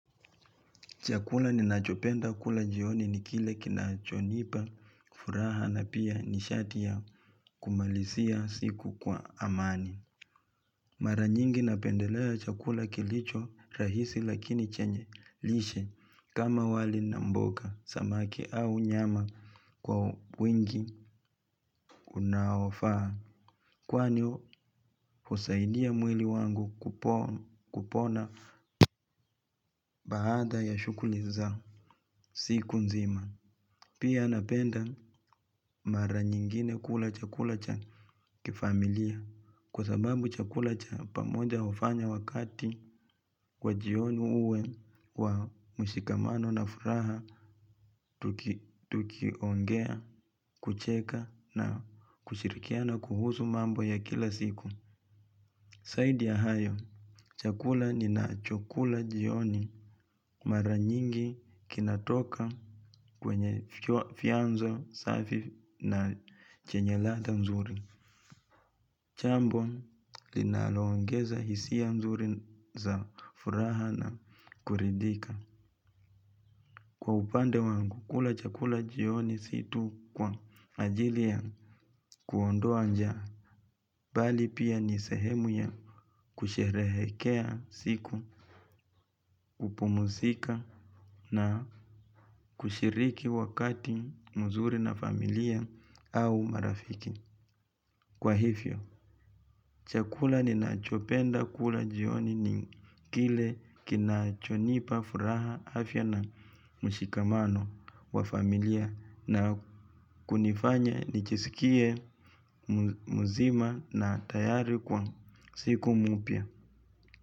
Chakula ninachopenda kula jioni ni kile kinachonipa, furaha na pia nishati ya kumalizia siku kwa amani. Mara nyingi napendelea chakula kilicho rahisi lakini chenye lishe kama wali na mboga, samaki au nyama kwa wingi unaofaa. Kwani, husaidia mwili wangu kupona baada ya shughuli za siku nzima. Pia napenda mara nyingine kula chakula cha kifamilia kwa sababu chakula cha pamoja hufanya wakati wa jioni uwe wa mushikamano na furaha tukiongea, kucheka na kushirikia na kuhusu mambo ya kila siku. Zaidi ya hayo, chakula ni na cho kula jioni mara nyingi kinatoka kwenye vyanzo safi na chenye ladha mzuri. Jambo, linaloongeza hisia mzuri za furaha na kuridhika. Kwa upande wangu, kula chakula jioni si tu kwa ajili ya kuondoa njaa, bali pia ni sehemu ya kusherehekea siku, hupumusika na kushiriki wakati mzuri na familia au marafiki. Kwa hivyo, chakula ninachopenda kula jioni ni kile kinachonipa furaha afya na mushikamano wa familia na kunifanya nichisikie mzima na tayari kwa siku mpya.